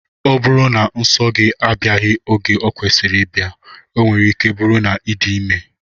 Ọ bụrụ na nso gị abịaghị oge ọ kwesịrị ịbịa, ọ nwere ike bụrụ na ị dị ime